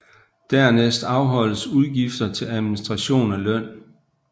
Dernæst afholdes udgifter til administration og løn